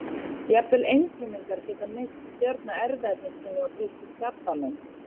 Jafnvel einfrumungar geta misst stjórn á erfðaefni sínu og breyst í krabbamein.